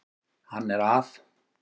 Hann er að